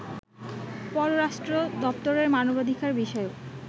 পররাষ্ট্র দপ্তরের মানবাধিকার বিষয়ক